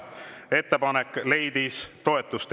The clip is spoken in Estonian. Ettepanek leidis toetust.